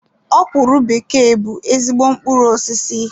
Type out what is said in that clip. Okwuru bekee bụ ezigbo mkpụrụ osisi.